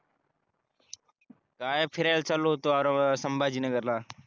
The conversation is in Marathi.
काय फिरायला चाललो होतो आर संभाजी नगर ला